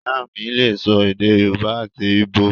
Ìyá mí lè sọ èdè yóòbá àti íbò